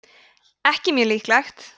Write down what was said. ekki mjög líklegt